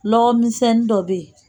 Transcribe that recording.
Nɔgɔ misɛnnin dɔ bɛ yen